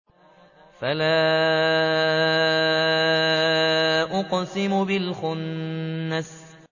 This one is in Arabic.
فَلَا أُقْسِمُ بِالْخُنَّسِ